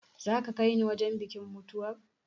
Za ka kai ni wajen bikin mutuwar?